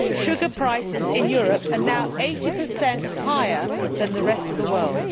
Sugar prices in Europe are now 80 higher than in the rest of the world.